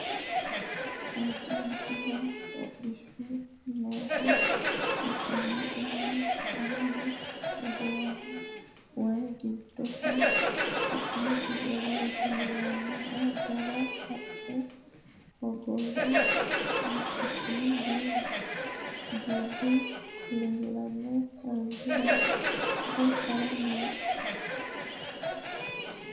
addi addihu hodhishu nooha ikkanna kuni kayeenni waye giddohu su'masi yowolote yinannihu jawa haqqe hogowe badhesiinni dubbu leellanna albira hige haranni no